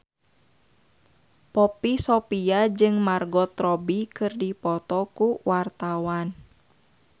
Poppy Sovia jeung Margot Robbie keur dipoto ku wartawan